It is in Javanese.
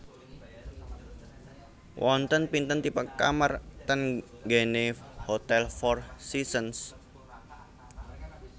Wonten pinten tipe kamar teng nggene Hotel Four Seasons?